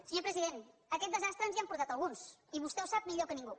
senyor president a aquest desastre ens hi han portat alguns i vostè ho sap millor que ningú